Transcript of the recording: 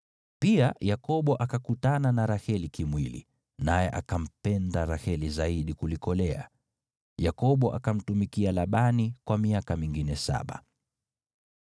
Pia Yakobo akakutana na Raheli kimwili, naye akampenda Raheli zaidi kuliko Lea. Yakobo akamtumikia Labani kwa miaka mingine saba.